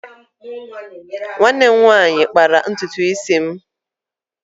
Nwanne m nwanyị kpara ntutu isi m.